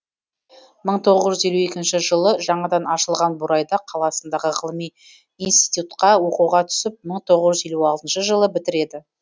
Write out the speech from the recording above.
мың тоғыз жүз елу екінші жылы жаңадан ашылған бурайда қаласындағы ғылыми инститютқа оқуға түсіп мың тоғыз жүз елу алтыншы жылы бітіреді